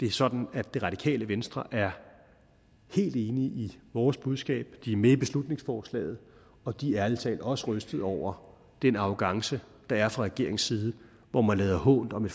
det er sådan at det radikale venstre er helt enige i vores budskab de er med i beslutningsforslaget og de er ærlig talt også rystede over den arrogance der er fra regeringens side hvor man lader hånt om